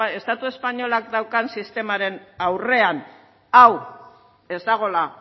estatu espainolak daukan sistemaren aurrean hau ez dagoela